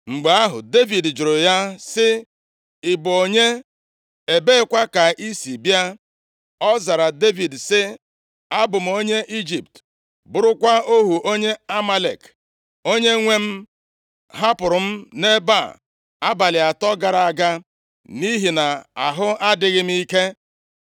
Mgbe ahụ, Devid jụrụ ya sị, “Ị bụ onye? Ebeekwa ka i si bịa?” Ọ zara Devid sị, “Abụ m onye Ijipt, bụrụkwa ohu onye Amalek. Onyenwe m hapụrụ m nʼebe a abalị atọ gara aga nʼihi na ahụ adịghị m ike.